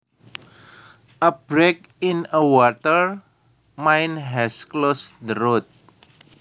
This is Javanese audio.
A break in a water main has closed the road